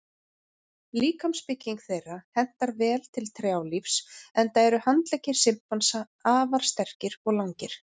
Líkamsbygging þeirra hentar vel til trjálífs enda eru handleggir simpansa afar sterkir og langir.